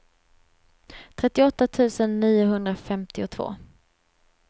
trettioåtta tusen niohundrafemtiotvå